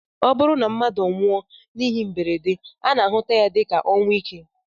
Ọ bụrụ na mmadụ nwụọ n'ihe mberede, a na-ahụta ya dịka ọnwụ ike